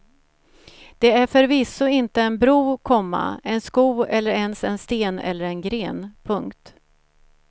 Det är förvisso inte en bro, komma en sko eller ens en sten eller en gren. punkt